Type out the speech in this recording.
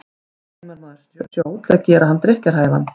Hvernig eimar maður sjó til að gera hann drykkjarhæfan?